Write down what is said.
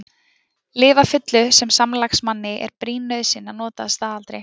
Lyf að fullu sem samlagsmanni er brýn nauðsyn að nota að staðaldri.